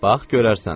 Bax, görərsən.